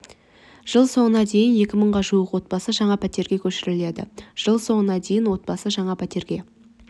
жыл соңына дейін екі мыңға жуық отбасы жаңа пәтерлерге көшіріледі жыл соңына дейін отбасы жаңа пәтерлерге